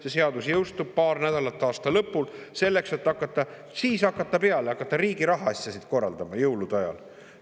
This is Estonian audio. See seadus jõustub paar nädalat enne aasta lõppu, selleks et siis hakata peale, hakata riigi rahaasju korraldama – jõulude ajal!